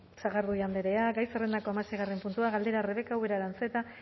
sagardui andrea gai zerrendako hamaseigarren puntua galdera rebeka ubera aranzeta